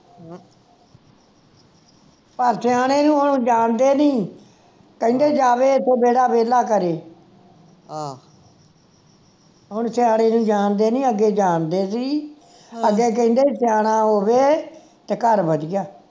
ਪਰ ਸਿਆਣੇ ਨੂੰ ਹੁਣ ਜਾਣਦੇ ਨਹੀਂ ਕਹਿੰਦੇ ਜਾਵੇ ਇਥੋਂ ਜਿਹੜਾ ਵੇਹਲਾ ਕਰੇ ਹੁਣ ਸਿਆਣੇ ਨੂੰ ਜਾਣਦੇ ਨਹੀਂ ਅੱਗੇ ਜਾਣਦੇ ਸੀ ਅੱਗੇ ਕਹਿੰਦੇ ਸੀ ਸਿਆਣਾ ਹੋਵੇ ਤਾਂ ਘਰ ਵਧੀਆ